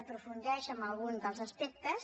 aprofundeix en algun dels aspectes